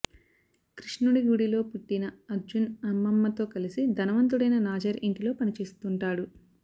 కృష్ణుడి గుడిలో పుట్టిన అర్జున్ అమ్మమ్మతో కలిసి ధనవంతుడైన నాజర్ ఇంటిలో పనిచేస్తుంటాడు